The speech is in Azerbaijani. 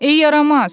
Ey yaramaz!